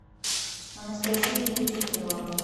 анастасия витютнева